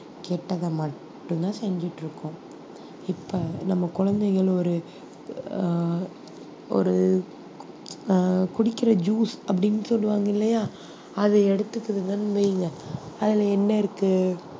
கெட்டதை மட்டும்தான் செஞ்சுட்டு இருக்கோம் இப்ப நம்ம குழந்தைகள் ஒரு ஆஹ் ஒரு ஆஹ் குடிக்கிற juice அப்படின்னு சொல்லுவாங்க இல்லையா அதை எடுத்துக்கிறதுன்னு வைங்க அதுல என்ன இருக்கு